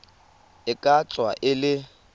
e ka tswa e le